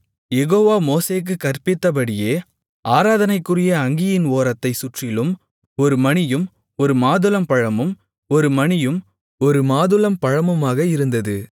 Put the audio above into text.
யெகோவா மோசேக்குக் கற்பித்தபடியே ஆராதனைக்குரிய அங்கியின் ஓரத்தைச் சுற்றிலும் ஒரு மணியும் ஒரு மாதுளம்பழமும் ஒரு மணியும் ஒரு மாதுளம்பழமுமாக இருந்தது